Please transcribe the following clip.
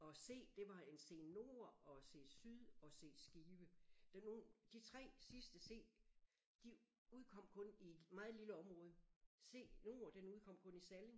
Og C det var en C nord og C syd og C Skive der nogen de 3 sidste C de udkom kun i et meget lille område C nord den udkom kun i Salling